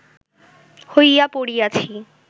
হইয়া পড়িয়াছি